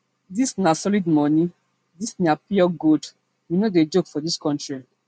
dis na solid moni dis na pure gold we no dey joke for dis kontri